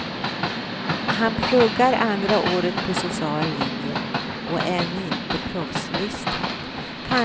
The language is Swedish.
Han pluggar andra året på social linje och är ännu inte proffslistad.